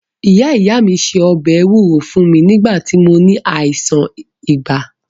Ìyá ìyá mí se ọbẹ̀ ewúro fún mí nígbà tí mó ní àìsàn ibà.